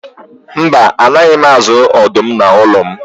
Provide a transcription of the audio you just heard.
Mba, a naghị m azụ ọdụm n'ụlọ m.